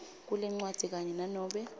kwalencwadzi kanye nanobe